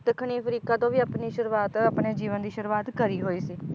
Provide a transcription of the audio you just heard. ਦੱਖਣੀ ਅਫ਼ਰੀਕਾ ਤੋਂ ਵੀ ਆਪਣੀ ਸ਼ੁਰੂਆਤ ਆਪਣੇ ਜੀਵਨ ਦੀ ਸ਼ੁਰੂਆਤ ਕਰੀ ਹੋਈ ਸੀ